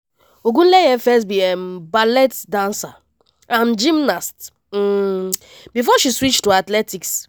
ogunleye first be um ballet dancer and gymnast um before she switch to athletics